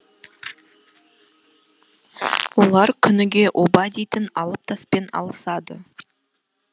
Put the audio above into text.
олар күніге оба дейтін алып таспен алысады